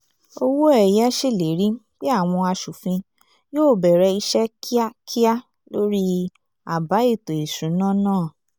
owóẹ̀yẹ ṣèlérí pé àwọn aṣòfin yóò bẹ̀rẹ̀ iṣẹ́ kíákíá lórí àbá ètò ìṣúná náà